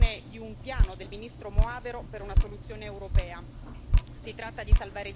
È recente la presentazione di un piano del ministro Moavero per una soluzione europea.